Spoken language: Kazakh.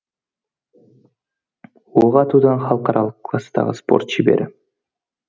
оқ атудан халықаралық кластағы спорт шебері